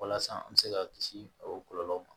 Walasa an bɛ se ka kisi o kɔlɔlɔw ma